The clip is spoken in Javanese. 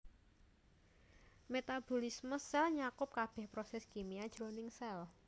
Metabolisme sèl nyakup kabèh prosès kimia jroning sèl